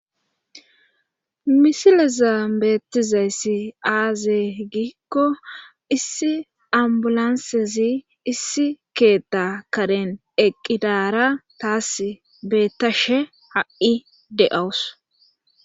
misile zam beettizayssi aazey giikko issi ambulansezi issi keetta karen eqqidara taas beettashe ha7i de7awus